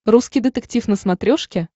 русский детектив на смотрешке